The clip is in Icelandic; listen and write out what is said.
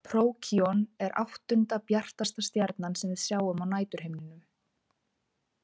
Prókíon er áttunda bjartasta stjarnan sem við sjáum á næturhimninum.